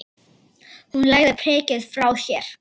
Hún lagði prikið frá sér.